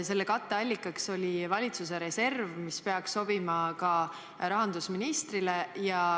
Selle katteallikaks oli valitsuse reserv, mis peaks sobima ka rahandusministrile.